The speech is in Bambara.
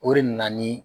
O de nana ni